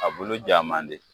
A bulu ja man di